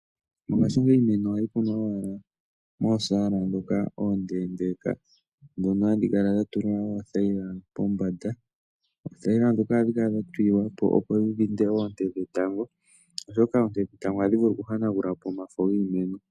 Mongashingeyi iimeno ohayi kunwa owala mosaala ndhoka oondeendeeka ndhono hadhi kala dha tulwa oothayila pombanda. Oothayila ndhoka ohadhi kala dha tulilwa po, opo dhi dhinde oonte dhetango, oshoka oonte dhetango ohadhi vulu okuhanagula po omafo giimeno.